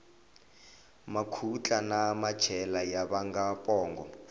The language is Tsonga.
makhutla na machela ya vanga pongo